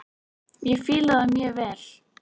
Ég fíla það mjög vel.